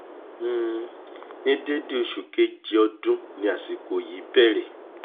ni dédé oṣù kéèjé ọdún ni àsìkò yìí bẹ̀rẹ̀